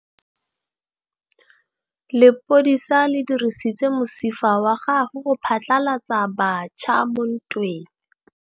Lepodisa le dirisitse mosifa wa gagwe go phatlalatsa batšha mo ntweng.